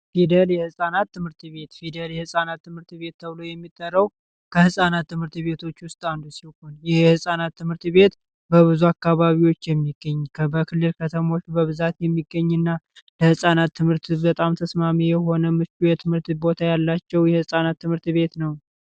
ፊደል የህፃናት ትምህርት ቤት ፊደል የህፃናት ትምህርት ቤት ተብሎ የሚጠራው ከህጻናት ትምህርት ቤቶች ውስጥ አንድ ሲሆን በብዙ አካባቢ የሚገኘው በክልል ከተሞች በብዛት የሚገኝ እና ለህፃናት ትምህርት በጣም ተስማሚ የሆኑ የትምህርት ቦታ ያላቸው የህፃናት ትምህርት ቤት ነው።